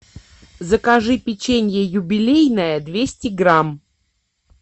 закажи печенье юбилейное двести грамм